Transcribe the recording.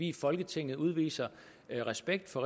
i folketinget udviser respekt for